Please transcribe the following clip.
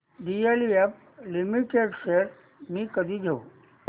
DLF limited shares मी कधी घेऊ